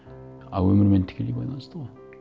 а өмірмен тікелей байланысты ғой